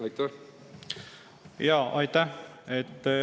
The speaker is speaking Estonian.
Aitäh!